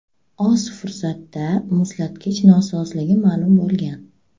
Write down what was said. Oz fursatda muzlatgich nosozligi ma’lum bo‘lgan.